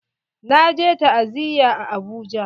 Na je ta'aziya a Abuja.